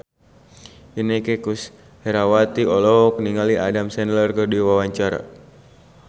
Inneke Koesherawati olohok ningali Adam Sandler keur diwawancara